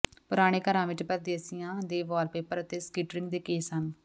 ਪੁਰਾਣੇ ਘਰਾਂ ਵਿੱਚ ਪਰਦੇਸੀਆਂ ਦੇ ਵਾਲਪੇਪਰ ਅਤੇ ਸਕਰਟਿੰਗ ਦੇ ਕੇਸ ਹਨ